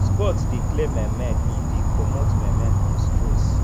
sports de clear my mind e de comot my mind from stress